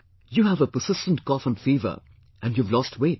You have a persistent cough and fever and you have lost weight